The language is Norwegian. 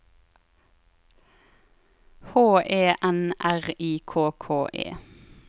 H E N R I K K E